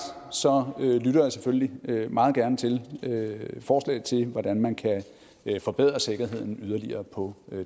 lytter jeg selvfølgelig meget gerne til forslag til hvordan man kan forbedre sikkerheden yderligere på